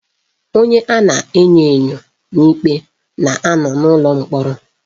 Onye a na-enyo enyo n'ikpe na anọ n'ulọ mkpọrọ